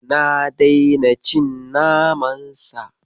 Na daina cin naman Sa.